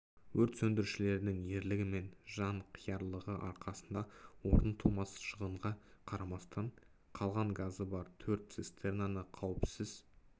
өрт сөндірушілердің ерлігі мен жанқиярлығы арқасында орны толмас шығынға қарамастан қалған газы бар төрт цистернаны қауіпсіз